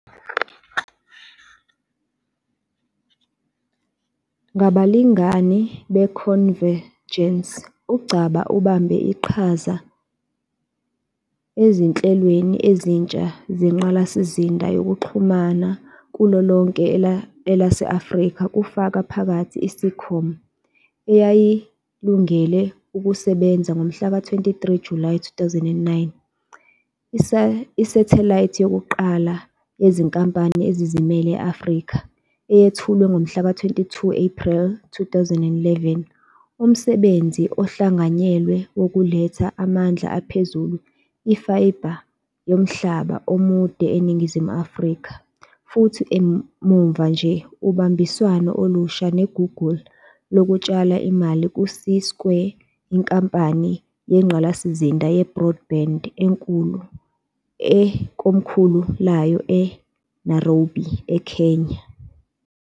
Ngabalingani beConvergence, uNgcaba ubambe iqhaza ezinhlelweni ezintsha zengqalasizinda yezokuxhumana kulo lonke elase-Afrika kufaka phakathi iSeacom eyayilungele ukusebenza ngomhlaka 23 Julayi 2009, isathelayithi yokuqala yezinkampani ezizimele e-Afrika eyethulwe ngomhlaka 22 Ephreli 2011, umsebenzi ohlanganyelwe wokuletha amandla aphezulu, i-fiber yomhlaba omude eNingizimu Afrika futhi muva nje ubambiswano olusha neGoogle lokutshala imali ku-CSquared, inkampani yengqalasizinda ye-broadband ekomkhulu layo eNairobi, EKenya.